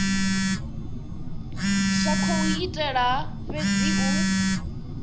sa khou itela fhedzi u